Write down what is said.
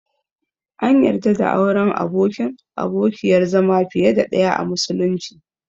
An yarda da auren abokin/abokiyar zama fiye da ɗaya a musulunci.